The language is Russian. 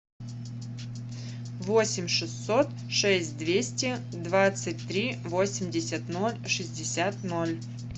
восемь шестьсот шесть двести двадцать три восемьдесят ноль шестьдесят ноль